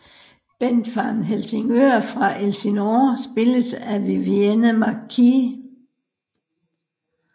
Bent Van Helsingør fra Elsinore spilles af Vivienne McKee